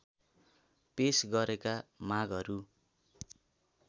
पेश गरेका मागहरू